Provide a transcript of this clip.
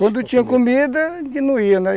Quando tinha comida, a gente não ia, né?